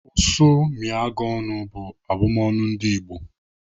"Ụsụ mịa gị ọnụ," bụ abụmọnu ndị Igbo.